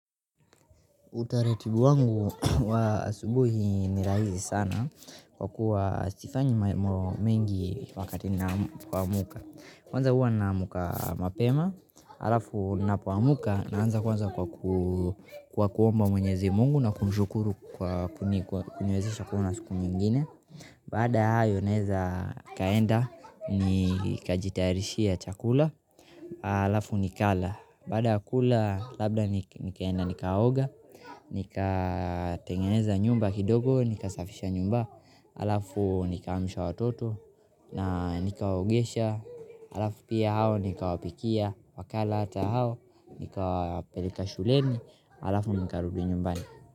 Utaratibu wangu wa asubuhi ni rahisi sana kwa kuwa sifanyi mambo mengi wakati ninapoamka. Kwanza huwa naamka mapema, halafu ninapoamka naanza kwanza kwa kuomba Mwenyezi Mungu na kumshukuru kwa kuniwezesha kuona siku nyingine. Baada ya hayo naweza nikaenda nikajitayarishia chakula, halafu nikala. Baada kula labda nikaenda nikaoga. Nikatengeneza nyumba kidogo, nikasafisha nyumba halafu nikaamsha watoto. Na nikawaogesha halafu pia hao nikawapikia wakala hata hao, nikawapeleka shuleni halafu nikarudi nyumbani.